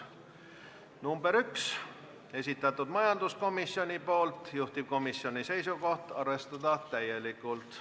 Ettepaneku nr 1 on esitanud majanduskomisjon, juhtivkomisjoni seisukoht on arvestada seda täielikult.